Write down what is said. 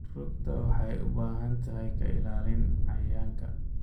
Rugta waxay u baahan tahay ka ilaalin cayayaanka.